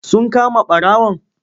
Sun kama ɓarawon?